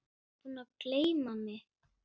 Ertu búinn að gleyma mig?